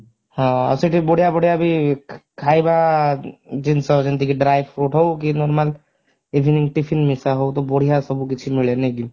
ହଁ ଆଉ ସେଇଠି ବଢିୟା ବଢିୟା ବି ଖାଇବା ଜିନିଷ ଯେମିତିକି dry fruits ହଉ କି normal evening tiffin ମିଶା ହଉ କି ତ ବଢିୟା ସବୁ କିଛି ମିଳେ ନାଇ କି?